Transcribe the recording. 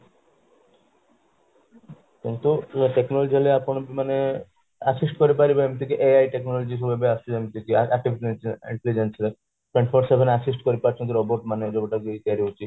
କିନ୍ତୁ technology ହେଲେ ଆପଣ ବି ମାନେ assist କରିପାରିବ ଏମିତି କି ai technology ସବୁ ଆସୁଛି ଯେମିତି କି assist କରିପାରୁଛନ୍ତି robot ମାନେ ଯୋଉଟା କି ତିଆରି ହୋଉଛି